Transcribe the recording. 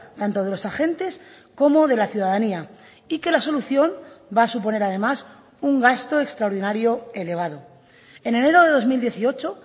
tanto de los agentes como de la ciudadanía y que la solución va a suponer además un gasto extraordinario elevado en enero de dos mil dieciocho